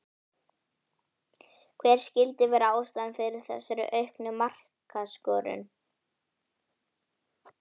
Hver skyldi vera ástæðan fyrir þessari auknu markaskorun?